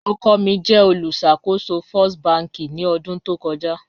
Ọkọ mi jẹ olùṣakòsò First bankì ni ọdun tó kọja